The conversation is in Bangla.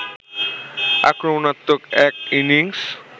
আক্রমণাত্মক এক ইনিংস